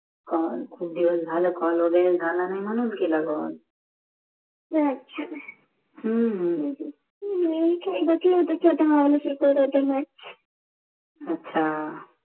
call खूप दिवस झाले कॉल वेगेरे झाला नाहि मानून केला कॉल अच्छा हम्म हा नेहिमीची एकदाची अच्छा